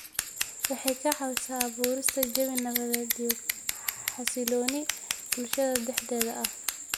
Waxay ka caawisaa abuurista jawi nabadeed iyo xasilooni bulshada dhexdeeda ah.